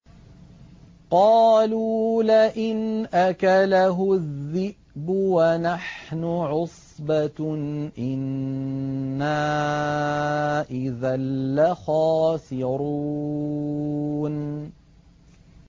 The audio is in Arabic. قَالُوا لَئِنْ أَكَلَهُ الذِّئْبُ وَنَحْنُ عُصْبَةٌ إِنَّا إِذًا لَّخَاسِرُونَ